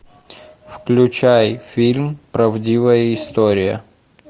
включай фильм правдивая история